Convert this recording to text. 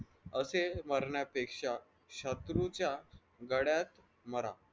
असे मरण्यापेक्ष्या शत्रूच्या गळ्यात मरा.